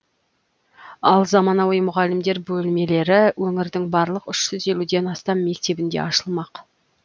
ал заманауи мұғалімдер бөлмелері өңірдің барлық үш жүз елуден астам мектебінде ашылмақ